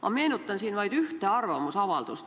Ma meenutan siin vaid ühte arvamusavaldust.